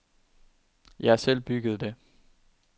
Jeg har selv bygget det.